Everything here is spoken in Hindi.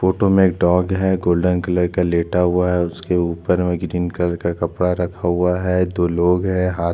फोटो में एक डॉग है गोल्डन कलर का लेट हुआ है उसके ऊपर में ग्रीन कलर का कपड़ा रखा है दो लोग है हाथ --